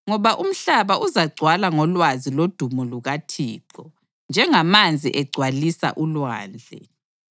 Ngoba umhlaba uzagcwala ngolwazi lodumo lukaThixo, njengamanzi egcwalisa ulwandle.